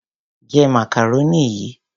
Jẹ macaroni yìí.